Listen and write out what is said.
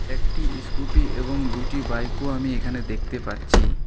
একটি ইশকুটি এবং দুইটি বাইক -ও আমি এখানে দেখতে পাচ্ছি।